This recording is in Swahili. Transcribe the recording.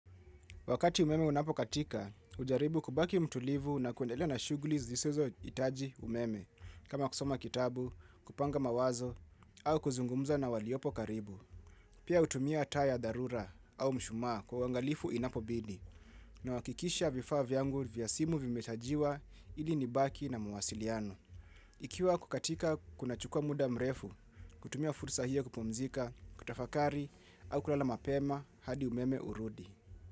Wakati umeme unapokatika, ujaribu kubaki mtulivu na kuendelea na shuguli zisizoitaji umeme kama kusoma kitabu, kupanga mawazo au kuzungumza na waliopo karibu. Pia utumia taa ya dharura au mshumaa kwa uangalifu inapobidi nawakikisha vifaa vyangu vya simu vimechajiwa ili nibaki na mwasiliano. Ikiwa kukatika kuna chukua muda mrefu, kutumia fursa hio kupumzika, kutafakari au kulala mapema hadi umeme urudi.